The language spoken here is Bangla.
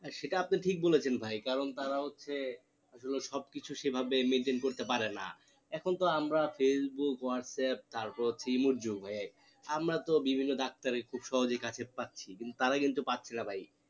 সেটা আপনি ঠিক বলেছেন ভাই কারণ তারা হচ্ছে আসলে সব কিছু সেই ভাবে maintain করতে পারে না এখন তো আমরা facebook whatsapp তারপর হচ্ছে ভাই আমরা তো বিভিন্ন ডাক্তার কে খুব সহজেই কাছে পাচ্ছি কিন্তু তারা কিন্তু পাচ্ছে না ভাই